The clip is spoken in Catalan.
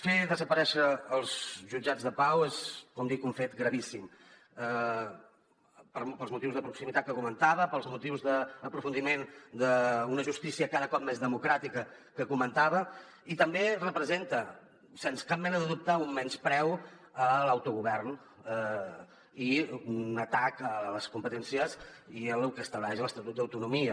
fer desaparèixer els jutjats de pau és com dic un fet gravíssim pels motius de proximitat que comentava pels motius d’aprofundiment d’una justícia cada cop més democràtica que comentava i també representa sense cap mena de dubte un menyspreu a l’autogovern i un atac a les competències i a lo que estableix l’estatut d’autonomia